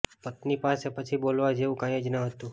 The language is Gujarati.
પત્ની પાસે પછી બોલવા જેવું કંઇ જ ન હતું